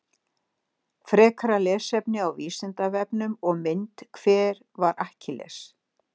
Frekara lesefni á Vísindavefnum og mynd Hver var Akkilles?